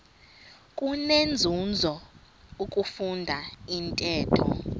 kunenzuzo ukufunda intetho